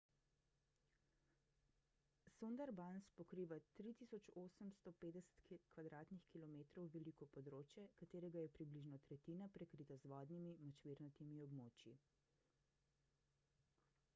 sundarbans pokriva 3.850 km² veliko področje katerega je približno tretjina prekrita z vodnimi/močvirnatimi območji